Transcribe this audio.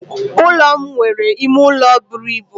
Ulo m nwere ime ụlọ buru ibu.